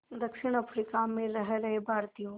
दक्षिण अफ्रीका में रह रहे भारतीयों